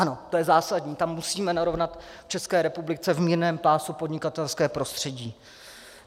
Ano, to je zásadní, tam musíme narovnat v České republice v mírném pásu podnikatelské prostředí.